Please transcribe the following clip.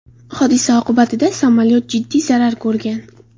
Hodisa oqibatida samolyot jiddiy zarar ko‘rgan.